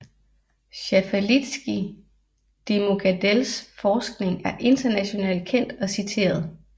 Schaffalitzky de Muckadells forskning er internationalt kendt og citeret